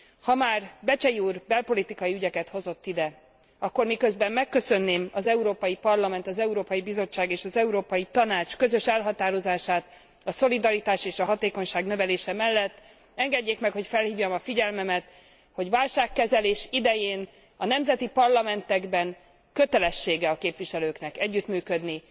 Ha már Becsey úr belpolitikai ügyeket hozott ide, akkor miközben megköszönném az Európai Parlament, az Európai Bizottság és az Európai Tanács közös elhatározását a szolidaritás és a hatékonyság növelése mellett, engedjék meg, hogy felhívjam a figyelmet, hogy válságkezelés idején a nemzeti parlamentekben kötelessége a képviselőknek együttműködni,